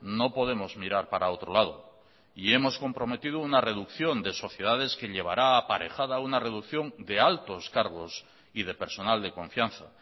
no podemos mirar para otro lado y hemos comprometido una reducción de sociedades que llevará aparejada una reducción de altos cargos y de personal de confianza